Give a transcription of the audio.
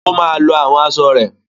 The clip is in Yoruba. Ó máa lọ àwọn asọ rẹ.